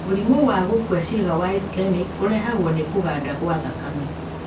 Mũrimũ wa gũkua ciĩga wa ischemic ũrehagwo nĩ kũganda kwa thakame.